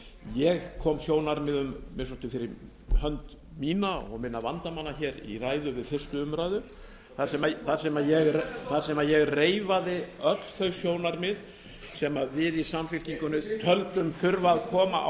ég kom sjónarmiðum að minnsta kosti fyrir hönd mína og minna vandamanna í ræðu við fyrstu umræðu þar sem ég reifaði öll þau sjónarmið sem við í samfylkingunni töldum þurfa að koma á